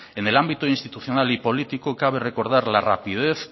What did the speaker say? en el ámbito institucional y político cabe recordar la rapidez